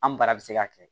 An baara bɛ se ka kɛ